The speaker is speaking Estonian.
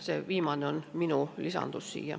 See viimane on minu lisandus.